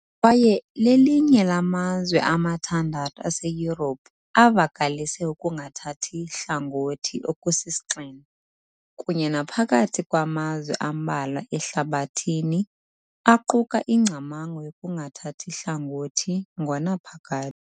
kwaye lelinye lamazwe amathandathu aseYurophu avakalise ukungathathi hlangothi okusisigxina , kunye naphakathi kwamazwe ambalwa ehlabathini aquka ingcamango yokungathathi hlangothi ngonaphakade.